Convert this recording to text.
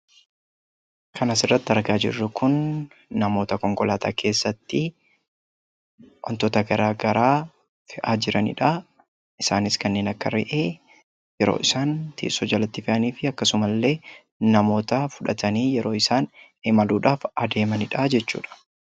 Kan asirratti argaa jirru kun namoota konkolaataa keessatti wantoota garaagaraa fe'aa jiranidha. Isaanis kanneen akka re'ee yeroo isaan teessoo jalatti fe'anii fi akkasumallee namoota fudhatanii yeroo isaan imaluudhaaf adeemanidha jechuudha,